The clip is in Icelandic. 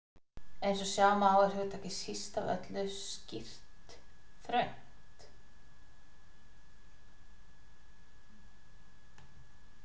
Eins og sjá má er hugtakið síst af öllu skýrt þröngt.